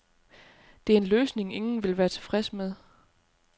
Det er en løsning, ingen vil være tilfredse med.